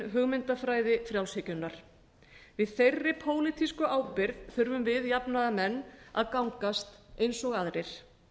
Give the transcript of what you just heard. hugmyndafræði frjálshyggjunnar í þeirri pólitísku ábyrgð þurfum við jafnaðarmenn að gangast eins og aðrir